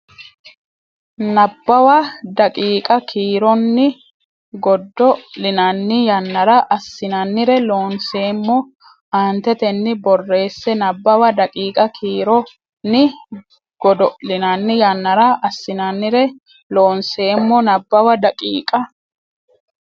Nabbawa daqiiqa kiironni godo linanni yannara assinannire Loonseemmo aantetenni borreesse Nabbawa daqiiqa kiironni godo linanni yannara assinannire Loonseemmo Nabbawa daqiiqa.